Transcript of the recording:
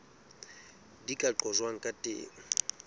di ka qojwang ka teng